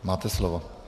Máte slovo.